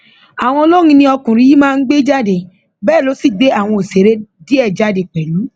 àwọn olórin ni ọkùnrin yìí máa ń gbé jáde bẹẹ ló sì gbé àwọn òṣèré díẹ jáde pẹlú